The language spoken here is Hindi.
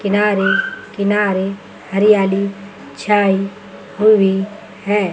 किनारे किनारे हरियाली छाई हुई है।